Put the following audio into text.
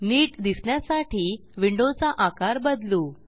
नीट दिसण्यासाठी विंडोचा आकार बदलू